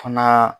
Fana